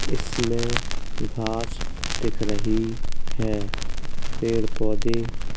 इसमें घाँस दिख रही है पेड़ पौधे --